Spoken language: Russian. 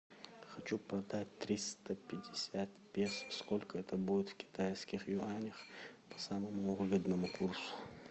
хочу продать триста пятьдесят песо сколько это будет в китайских юанях по самому выгодному курсу